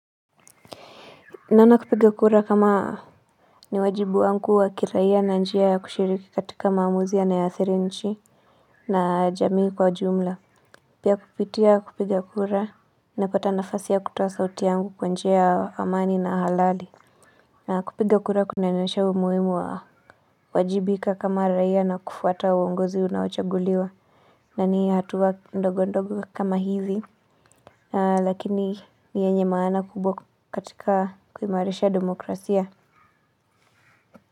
Naona kupiga kura kama ni wajibu wangu wa kiraia na njia ya kushiriki katika maamuzi yanayoathiri nchi na jamii kwa jumla pia kupitia kupiga kura napata nafasi ya kutoa sauti yangu kwa njia ya amani na halali na kupiga kura kunanionesha umuhimu wa kuwajibika kama raia na kufuata uongozi unaochaguliwa na ni hatua ndogo ndogo kama hizi lakini ni yenye maana kubwa katika kuimarisha demokrasia kwa hivyo.